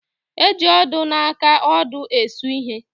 E ji odo na aka odo esu ihe.